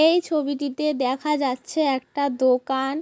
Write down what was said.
এই ছবিটিতে দেখা যাচ্ছে একটা দোকান।